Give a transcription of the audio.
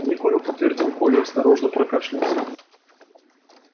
не курю подтвердил коля и осторожно прокашлялся